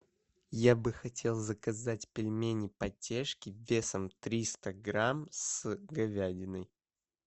я бы хотел заказать пельмени потешки весом триста грамм с говядиной